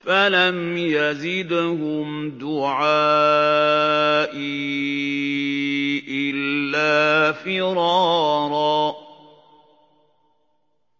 فَلَمْ يَزِدْهُمْ دُعَائِي إِلَّا فِرَارًا